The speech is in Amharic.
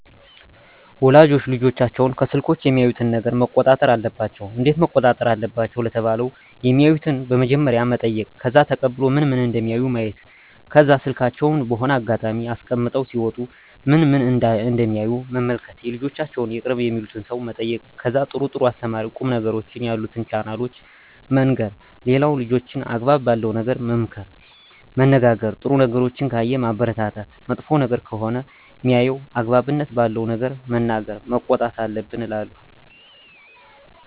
ወላጆች ልጆቻቸውን ከስልኮች የሚያዩትን ነገረ መቆጣጠር አለባቸው እንዴት መቆጣጠር አለባቸው ለተባለው የማዩትን በመጀመሪያ መጠይቅ ከዛ ተቀብሎ ምን ምን እደሚያዩ ማየት ከዛ ስልካቸውን በሆነ አጋጣሚ አስቀምጠው ሲወጡ ምን ምን እደሚያዩ መመልከት የልጆቻቸውን የቅርብ የሚሉትን ሰው መጠየቅ ከዛ ጥሩ ጥሩ አስተማሪ ቁም ነገሮችን ያሉትን ቻናሎችን መንገር ሌላው ልጆችን አግባብ ባለው ነገር መመካከር መነጋገር ጥሩ ነገሮችን ካየ ማበረታታት መጥፎ ነገር ከሆነ ሜያየው አግባብነት ባለው ነገር መናገር መቆጣት አለብን እላለው